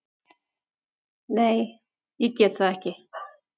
Nei, ég get það ekki.